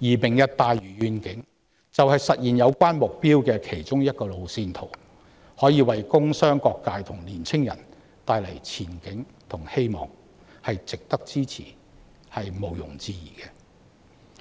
而"明日大嶼願景"便是實現有關目標的其中一個路線圖，可以為工商各界和年青人帶來前景和希望，毋庸置疑是值得支持的。